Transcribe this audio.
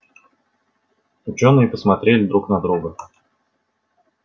учёные посмотрели друг на друга